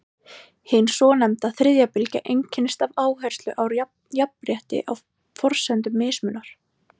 hin svonefnda „þriðja bylgja“ einkennist af áherslu á jafnrétti á forsendum mismunar